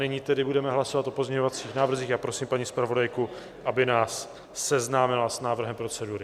Nyní tedy budeme hlasovat o pozměňovacích návrzích a prosím paní zpravodajku, aby nás seznámila s návrhem procedury.